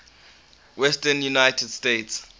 southwestern united states